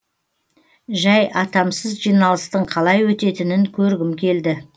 жәй атамсыз жиналыстың қалай өтетінін көргім келді